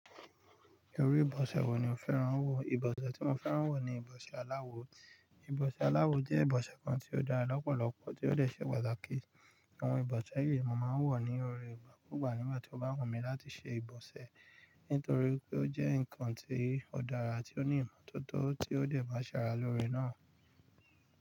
Ìru ìbose wo ni o fẹ́rán wò? Ìbọ̀sẹ́ tí mo fẹ́rán wò ni ìbọ̀sẹ́ aláwo. Ìbọ̀sẹ́ aláwo jẹ́ ìbọ̀sẹ́ kan tí ó dára lọ́pọ̀lọpọ̀, tí ó dẹ̀ ṣe pàtàkì. Àwọn ìbọ̀sẹ́ èyí mo máa ń wò nírọ̀rẹ́ ìgbákúgbà nígbà tí o bá wọ̀n mi láti ṣe ìbọ̀sẹ́, nítorí pé ó jẹ́ nǹkan tí ó dára àti ó ní ìmọ́tótó tí ó dẹ̀ má ṣara lóore náà.